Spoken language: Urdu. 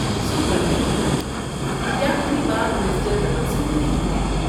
صبح بخیر، کیا میری بات مسٹر رمن سے ہو رہی ہے؟